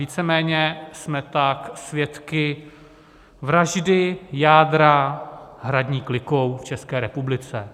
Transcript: Víceméně jsme tak svědky vraždy jádra hradní klikou v České republice.